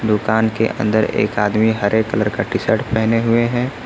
दुकान के अंदर एक आदमी हरे कलर का टी शर्ट पहने हुए है।